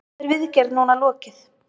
Þar er viðgerð núna lokið.